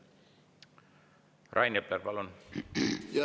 Rain Epler, palun!